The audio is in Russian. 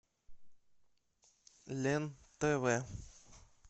лен тв